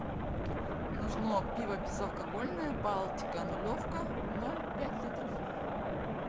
нужно пиво безалкогольное балтика нулевка ноль пять литров